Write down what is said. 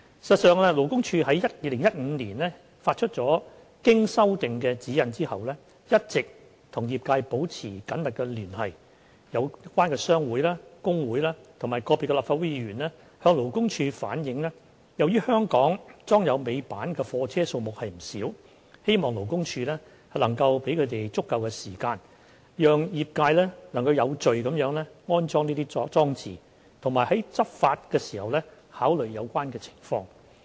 事實上，勞工處於2015年發出經修訂的《指引》後，一直與業界保持緊密聯繫，有關商會、工會及個別立法會議員向勞工處反映由於香港裝有尾板的貨車數目不少，希望勞工處能夠給予足夠時間，讓業界能有序地安裝這些裝置，並在執法時考慮有關情況。